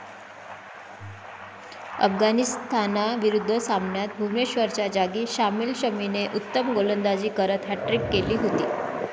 अफगाणिस्तानाविरुद्ध सामन्यात भुवनेश्वरच्या जागी सामील शमीने उत्तम गोलंदाजी करत हॅट्रिक केली होती.